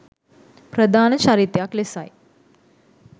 ප්‍රධාන චරිතයක් ලෙසයි